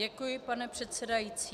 Děkuji, pane předsedající.